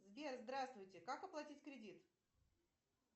сбер здравствуйте как оплатить кредит